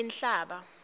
inhlaba